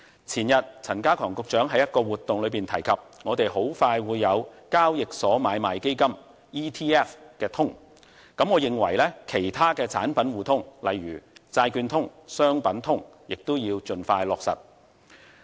前天陳家強局長在一項活動中提及，我們很快會有交易所買賣基金通，我認為其他的產品互通，例如債券通，商品通等亦要盡快落實。